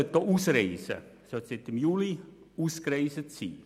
Seit Juli sollte er auch ausgereist sein.